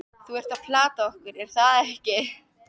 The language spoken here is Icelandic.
Þú ert að plata okkur, er það ekki?